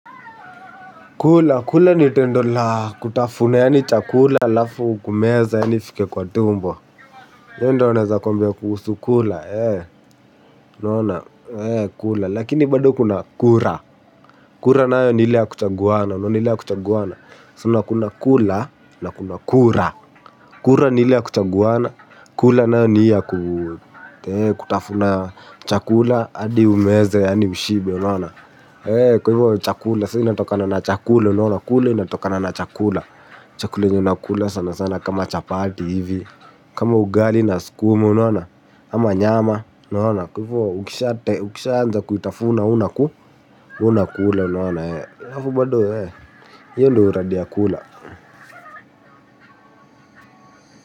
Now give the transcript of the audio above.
Kula, kula ni tendo la kutafuna, yaani chakula alafu kumeza, yaani ifike kwa tumbo. Ye ndo anaeza kombia kuusu kula, eh, unoona, eh, kula, lakini bado kuna kura. Kura nayo niile ya kuchanguana, unona ile ya kuchangwana. Sina kuna kula, na kuna kura. Kura ni ile ya kuchaguana, kula nayo ni ii ya ku eeh kutafuna chakula hadi umeze yani ushibe unaona eeh. Kwa hivyo chakula, sa inatokana na chakula. Kula inatokana na chakula. Chakula yenye unakula sana sana kama chapati hivi. Kama ugali na skumu, unaona ama nyama unaona. Kwa hivyo ukishate, ukishanza kuitafuna, we unaku we unakula unaona eeh, we unakula, unaona eeh alafu bado eeh hio ndo uradi ya kula.